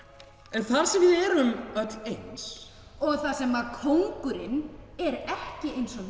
en þar sem við erum öll eins og þar sem að kóngurinn er ekki eins og